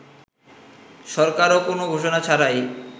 সরকারও কোন ঘোষণা ছাড়াই